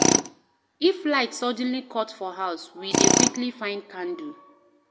If light suddenly cut for house, we dey quickly find candle.